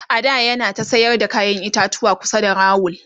a da yana ta sayar da kayan itatuwa kusa da rawul